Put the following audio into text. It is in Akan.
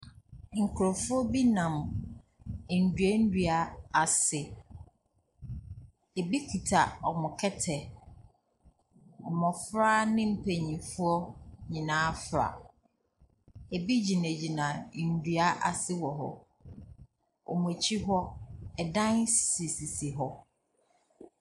Nkurɔfoɔ bi nam nnua nnua ase. Ɛbi kita wɔn kɛtɛ. Mmɔfra ne mpanimfoɔ nyinaa fra. Ɛbi gyinagyina nnua ase wɔ hɔ. Wɔn akyi hɔ, ɛdan sisisisi hɔ.